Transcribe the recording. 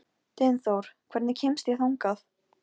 Að hún hafi bara gert það fyrir Rúnu að koma.